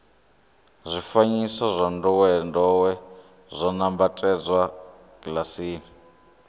zwifanyiso zwa ndowendowe zwo nambatsedzwa kilasini